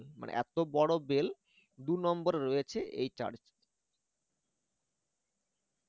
মানে এত বড় bell দুনম্বরে রয়েছে এই charch